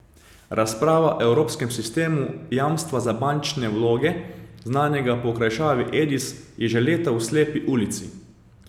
Razprava o evropskem sistemu jamstva za bančne vloge, znanega po okrajšavi Edis, je že leta v slepi ulici.